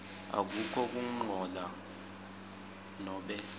akukho kungcola nobe